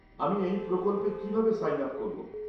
আমি এই প্রকল্পে কিভাবে সাইন আপ করব?